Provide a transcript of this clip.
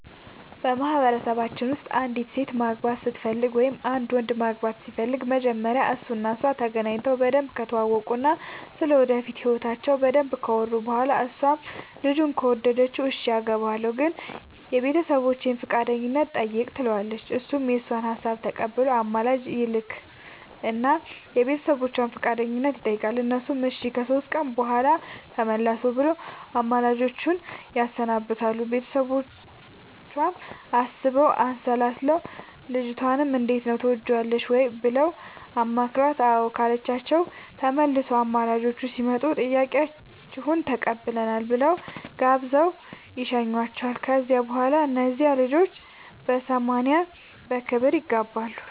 በማህበረሰባችን ውስጥ አንዲት ሴት ማግባት ስትፈልግ ወይም አንድ ወንድ ማግባት ሲፈልግ መጀመሪያ እሱ እና እሷ ተገናኝተው በደንብ ከተዋወቁ እና ስለ ወደፊት ህይወታቸው በደንብ ካወሩ በኋላ እሷም ልጁን ከወደደችው እሽ አገባሀለሁ ግን የቤተሰቦቼን ፈቃደኝነት ጠይቅ ትለዋለች እሱም የእሷን ሀሳብ ተቀብሎ አማላጅ ይልክ እና የቤተሰቦቿን ፈቃደኝነት ይጠይቃል እነሱም እሺ ከሶስት ቀን በኋላ ተመለሱ ብለው አማላጆቹን ያሰናብታሉ ቤተሰቦቿም አስበው አሠላስለው ልጅቷንም እንዴት ነው ትወጅዋለሽ ወይ ብለው አማክረዋት አዎ ካለቻቸው ተመልሰው አማላጆቹ ሲመጡ ጥያቄያችሁን ተቀብለናል ብለው ጋብዘው ይሸኙዋቸዋል ከዚያ በኋላ እነዚያ ልጆች በሰማንያ በክብር ይጋባሉ።